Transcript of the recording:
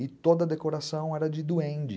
E toda a decoração era de duende.